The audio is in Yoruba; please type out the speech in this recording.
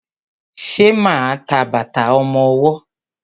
Ṣe ma ń ta bàtà ọmọwọ́?